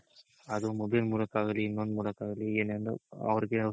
ಅದು mobile ಮೂಲಕ ಆಗ್ಲಿ ಇನ್ನೊಂದ್ ಮೂಲಕ ಆಗ್ಲಿ ಏನಾದ್ರೂ ಅವ್ರಿಗೆ